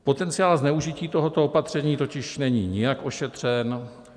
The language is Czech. Potenciál zneužití tohoto opatření totiž není nijak ošetřen.